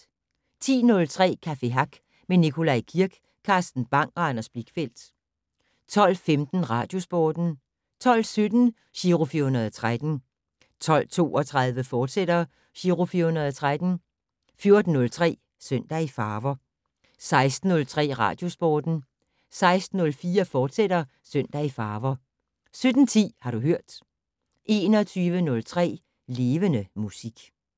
10:03: Café Hack med Nikolaj Kirk, Carsten Bang og Anders Blichfeldt 12:15: Radiosporten 12:17: Giro 413 12:32: Giro 413, fortsat 14:03: Søndag i farver 16:03: Radiosporten 16:04: Søndag i farver, fortsat 17:10: Har du hørt 21:03: Levende Musik